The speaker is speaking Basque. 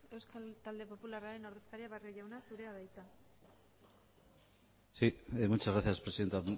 euskal talde popularraren ordezkaria barrio jauna zurea da hitza sí muchas gracias presidenta